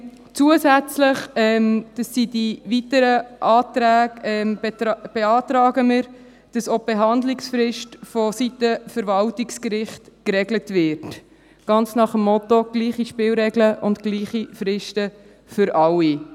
Zusätzlich – das betrifft die weiteren Anträge – beantragen wir, dass auch die Behandlungsfrist vonseiten Verwaltungsgericht geregelt wird – ganz nach dem Motto: Gleiche Spielregeln und gleiche Fristen für alle.